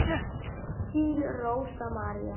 Þín Rósa María.